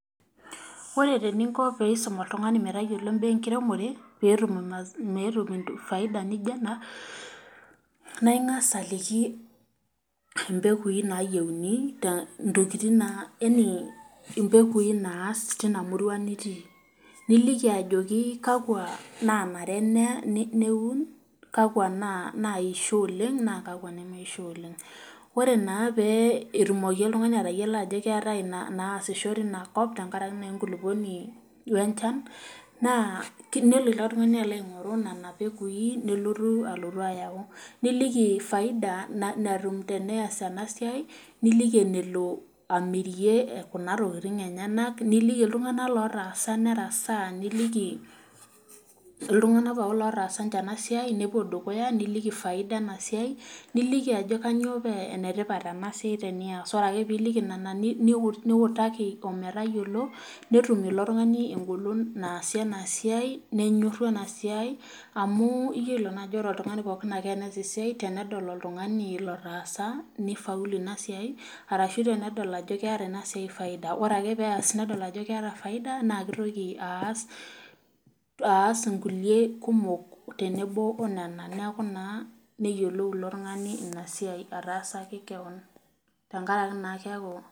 Ore eninko tenisum oltungani metayiolo imbaa enkiremore pee etum faida naijo ena ,naa ingas aliki mpegui naas tina murua nitii niliki ajoki kakwa nanare niun kakwa naishori oleng naa kakwa neisho oleng .ore naa enaiko oltungani peyie eyiolou ajo keetai inaasisho teinakop tenkaraki naa enkulukuoni wenchan ,naa nelo ilo tungani aingoru nena pengui ayau ,niliki faida natum tenes ena siai ,niliki enelo amirie Kuna tokiting enyenak niliki iltunganak ootaasa nerasaa niliki iltunganak pookin otaasa ninche ena siai niliki faida ena siai niliki ajo kainyoo paa enetipat ena siai tenias ,ore ake pee iliki nena niutaki ometayiolo netum ilo tungani engolon naasie ina siai nenyoru ena siai amu iyiolo naa ajo ore pooki tungani tenes esia ore pee edol oltungani otaasa nifaulu ina siai, orashu tenedol ajo keeta ina siai faida ,ore tenedol ajo keeta faida neitoki aas nkulie kumok tenebo onena neeku naa neyiou ilo tungani ina siai ataasaki keon.